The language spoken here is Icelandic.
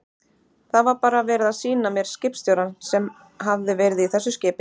Það var bara verið að sýna mér skipstjórann sem hafði verið í þessu skipi.